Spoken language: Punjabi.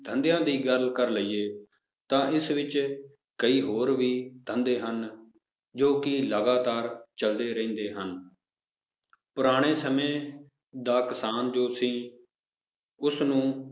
ਧੰਦਿਆਂ ਦੀ ਗੱਲ ਕਰ ਲਈਏ ਤਾਂ ਇਸ ਵਿੱਚ ਕਈ ਹੋਰ ਵੀ ਧੰਦੇ ਹਨ, ਜੋ ਕਿ ਲਗਾਤਾਰ ਚੱਲਦੇ ਰਹਿੰਦੇ ਹਨ ਪੁਰਾਣੇ ਸਮੇਂ ਦਾ ਕਿਸਾਨ ਜੋ ਸੀ ਉਸਨੂੰ